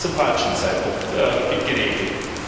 Jetzt wird es zum falschen Zeitpunkt geregelt.